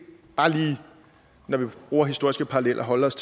bare lige når vi bruger historiske paralleller holde os